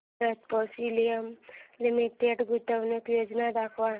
Bharat petroleum limited गुंतवणूक योजना दाखव